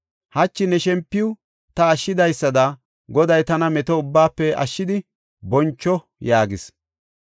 Hachi ne shempuwa ta ashshidaysada Goday tana meto ubbaafe ashshidi boncho” yaagis.